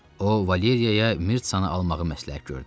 O Valeriyaya Mirtsanı almağı məsləhət gördü.